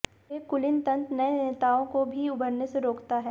एक कुलीनतंत्र नए नेताओं को भी उभरने से रोकता है